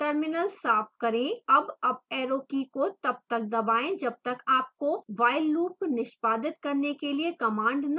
terminal साफ करें